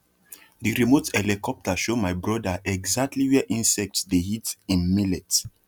the remote helicopter show my brother exactly where insects dey eat him millets